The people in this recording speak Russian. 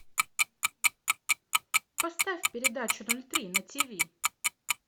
поставь передачу ноль три на ти ви